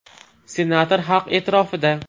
Senator xalq e’tirofida!.